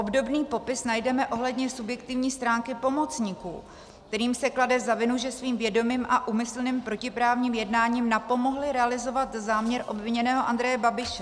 Obdobný popis najdeme ohledně subjektivní stránky pomocníků, kterým se klade na vinu, že svým vědomým a úmyslným protiprávním jednáním napomohli realizovat záměr obviněného Andreje Babiše.